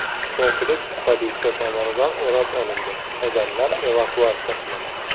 Kompleks politsiya tomonidan o‘rab olindi, odamlar evakuatsiya qilindi.